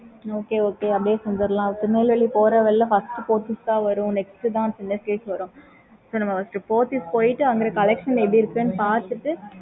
okay mam